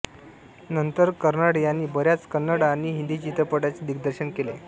नंतर कर्नाड यांनी बऱ्याच कन्नड आणि हिंदी चित्रपटांचे दिग्दर्शन केले